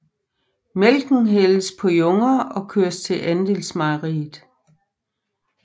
Mælken hældes på junger og køres til andelsmejeriet